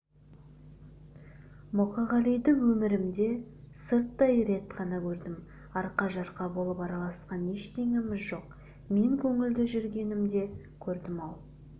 мұқағалиды өмірімде сырттай рет қана көрдім арқа-жарқа болып араласқан ештеңеміз жоқ мен көңілді жүргенінде көрдім-ау